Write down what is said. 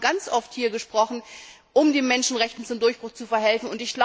Wir haben schon sehr oft hier diskutiert, um den Menschenrechten zum Durchbruch zu verhelfen.